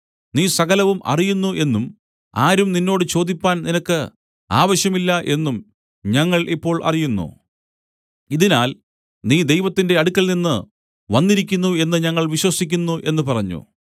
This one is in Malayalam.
നീ സകലവും അറിയുന്നു എന്നും ആരും നിന്നോട് ചോദിപ്പാൻ നിനക്ക് ആവശ്യം ഇല്ല എന്നും ഞങ്ങൾ ഇപ്പോൾ അറിയുന്നു ഇതിനാൽ നീ ദൈവത്തിന്റെ അടുക്കൽനിന്ന് വന്നിരിക്കുന്നു എന്നു ഞങ്ങൾ വിശ്വസിക്കുന്നു എന്നു പറഞ്ഞു